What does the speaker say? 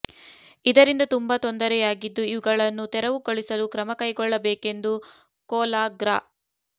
ಇದರಿಂದ ತುಂಬಾ ತೊಂದರೆಯಾಗಿದ್ದು ಇವುಗಳನ್ನು ತೆರವುಗೊಳಿಸಲು ಕ್ರಮ ಕೈಗೊಳ್ಳಬೇಕೆಂದು ಕೊಲ ಗ್ರಾ